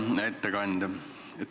Hea ettekandja!